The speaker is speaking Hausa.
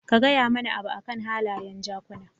Ka gaya mana abu akan halayen jakuna